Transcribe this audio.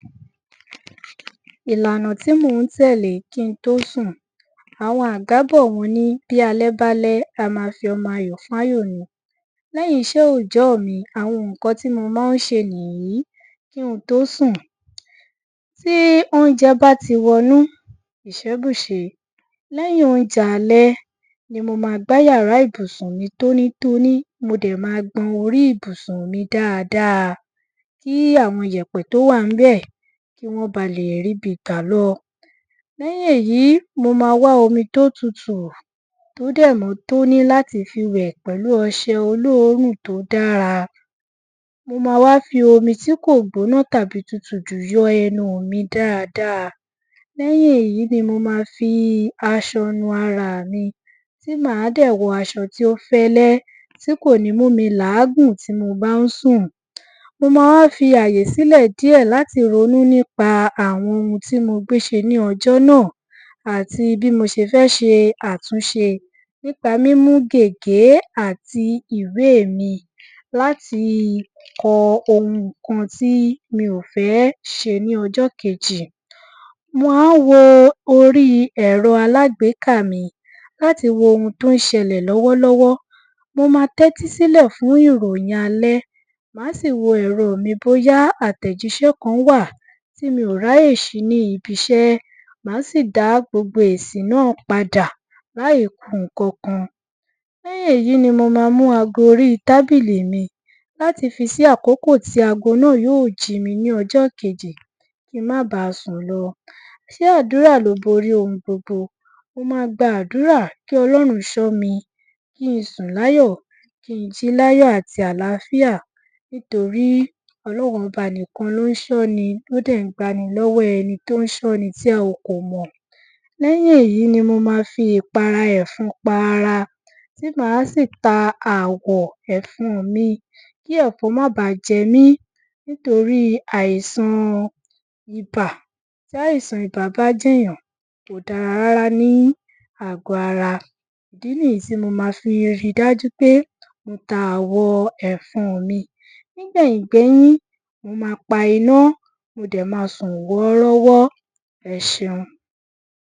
Ilànà tí mò ń tẹ̀lé ki n tó sùn; Àwọn àgbà bọ̀ wọ́n ní 'bí alẹ́ bá lẹ́, a ma fọmọ ayò fún áyò ni'’. Lẹ́yìn iṣẹ́ òòjọ́ ọ̀ mi àwọn nǹkan tí mo má ń ṣe nìyí kí n tó sùn. Tí oúńjẹ bá ti wọnú, ìṣẹ́ bùṣe. Lẹ́yìn óúnjẹ̀ alẹ́ ni mo máa gbá yàrá ìbùsùn mi tónítóní, mo dẹ̀ máa gbọn orí ìbùsùn mi dáadáa kí àwọn ìyẹ̀pẹ̀ tó wà ńbẹ̀, kí wọ́n balè ríbi gbà lọ. Lẹ́yìn èyí, mo ma wá omi to tutù, tó dẹ̀ mọ́ tóní láti fi wẹ̀ pẹ̀lú ọṣẹ olóòórùn tó dára. Mo máa wá fi omi tí kò gbóná tàbí tutù jù yọ ẹnu ù mi dáadáa. Lẹ́yìn èyí ni mo ma fi aṣọ nu ara à mi tí màá dẹ̀ wọ aṣọ tó fẹ́lẹ́ tí kòní mú mi làágùn tí mo bá ń sùn. Mo máa wá fi àyè sílẹ̀ díẹ̀ láti ronú nípa àwọn oun tí mo gbéṣe ní ọjọ́ náà àti bí mo ṣe fẹ́ ṣe àtúnṣe nípa mímú gègé àti ìwéè mi láti kọ oùnkan tí mi ò fẹ́ ṣe ní ọjọ́ kejì. Màá wo orí ẹ̀rọ aláàgbékà mi láti wo oun tò ń ṣẹlẹ̀ lọ́wọ́lọ́wọ́. Mo ma tẹ́tí sílẹ̀ fún ìròyìn alẹ́, màá sì wo ẹ̀rọọ̀ mi bóyá àtẹ̀jíṣẹ́ kan wà tí mi ò ráyè ṣí ní ibiṣẹ́, màá sì dá gbogbo èsì náà padà láì ku nǹkakan. Lẹ́yìn èyí ni mo ma mú ago orí tábìlì mi láti fi sí àkókò tí ago náà yóò jí mi ni ọjọ́ kejì kí n má baà sùn lọ. Ṣé Àdúrà ló borí oun gbogbo? mo ma gba Àdúrà kí Ọlọ́run ṣọ́ mi kí n sùn láyọ̀, kí n jí láyọ̀ àti àlàáfíà nítorí Ọlọ́run Ọba nìkan ló ń ṣọ́ni tó dẹ̀ ń gbani lọ́wọ́ ẹni tí a kò mọ̀. Lẹ́yìn èyí ni mo ma fi ìpara ẹ̀fọn pa ara tí màá sì ta àwọ̀n ẹ̀fọn-ọ̀n mi kí ẹ̀fọn má baà jẹ mí nítorí àìsan Ibà. Tí àìsan Ibà bá jẹ̀yàn, kò dára rárá ní àgò ara. Ìdí nìyí tí mo ma fi ri dájú pé mo ta àwọ̀n ẹ̀fọn-ọ̀n mi. Nígbẹ̀yìngbẹ́yín mo ma pa iná, mo dẹ̀ ma sùn wọ́ọ́rọ́wọ́. Ẹ ṣeun.